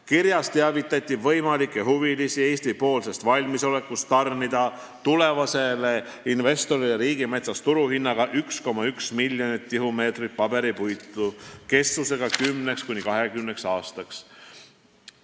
Kirjas teavitati võimalikke huvilisi Eesti valmisolekust tarnida tulevasele investorile riigimetsast turuhinnaga 1,1 miljonit tihumeetrit paberipuitu kestvuslepinguga 10–20 aastaks.